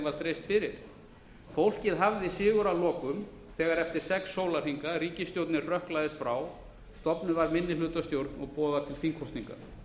var dreift fyrir fólkið hafði sigur að lokum þegar ríkisstjórnin hrökklaðist frá eftir sex sólarhringa stofnuð var minnihlutastjórn og boðað til þingkosninga